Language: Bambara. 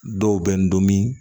Dɔw bɛ n dɔn